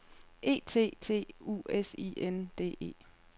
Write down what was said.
E T T U S I N D E